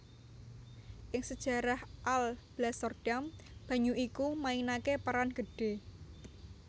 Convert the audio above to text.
Ing sejarah Alblasserdam banyu iku mainaké peran gedhé